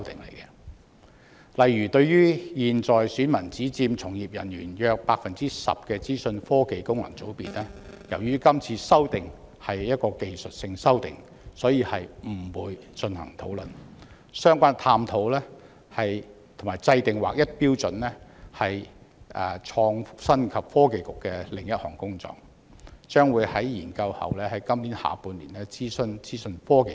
例如，對於現在選民只佔從業人員約 10% 的資訊科技界功能界別，由於今次修訂為技術性修訂，所以不會進行討論，相關探討及制訂劃一標準是創新及科技局的另外一項工作，將在研究後於今年下半年諮詢資訊科技界。